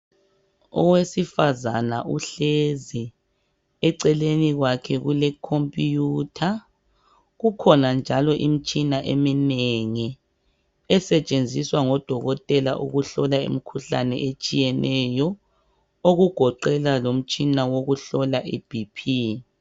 Owesifazana uhlezi eceleni kwakhe kulekhompiyutha kukhona njalo imitshina eminengi esetshenziswa ngodokotela ukuhlola imikhuhlane etshiyeneyo okugoqela lomtshina wokuhlola iBP.